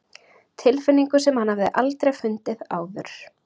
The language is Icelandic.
Tilfinningu sem hann hafði aldrei fundið áður.